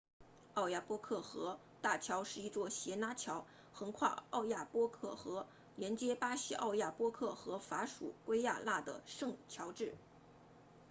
奥亚波克河大桥是一座斜拉桥横跨奥亚波克河连接巴西奥亚波克和法属圭亚那的圣乔治